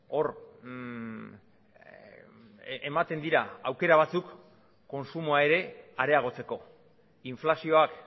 hor ematen dira aukera batzuk kontsumoa ere areagotzeko inflazioak